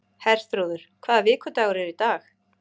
Herþrúður, hvaða vikudagur er í dag?